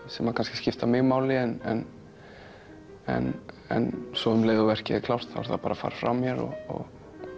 sem kannski skipta mig máli en en en svo um leið og verkið er klárt þá er það bara farið frá mér og